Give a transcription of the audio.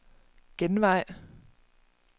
genvej